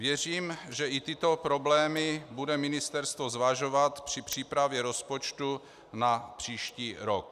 Věřím, že i tyto problémy bude ministerstvo zvažovat při přípravě rozpočtu na příští rok.